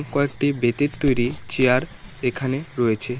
কয়েকটি বেতের তৈরি চেয়ার এখানে রয়েছে।